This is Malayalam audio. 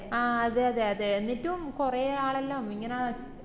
ആഹ് അതെ അതെ അതെ എന്നിറ്റും കൊറേ ആളെല്ലാം ഇങ്ങനെ